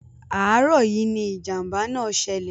Àárọ̀ yìí ni ìjàm̀bá náà ṣẹlẹ̀.